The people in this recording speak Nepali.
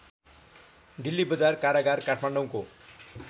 डिल्लीबजार कारागार काठमाडौँको